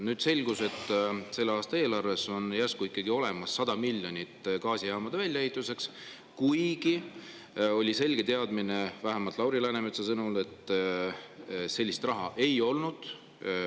Nüüd selgus, et selle aasta eelarves on järsku ikkagi olemas 100 miljonit gaasijaamade väljaehituseks, kuigi oli selge teadmine, vähemalt Lauri Läänemetsa sõnul, et sellist raha ei olnud.